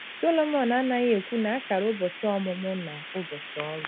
Sọlọmọn anaghị ekwu na a kara ụbọchị ọmụmụ na ụbọchị ọnwụ.